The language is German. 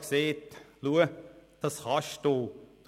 Sie haben gesagt: Schauen Sie, dass können Sie.